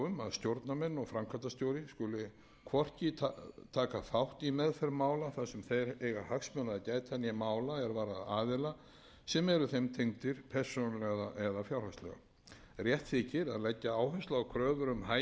stjórnarmenn og framkvæmdastjóri skuli hvorki taka þátt í meðferð mála þar sem þeir eiga hagsmuna að gæta né mála er varða aðila sem eru þeim tengdir persónulega eða fjárhagslega rétt þykir að leggja